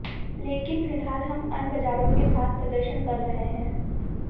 लेकिन फिलहाल हम अब अन्य बाजारों के साथ प्रदर्शन कर रहे हैं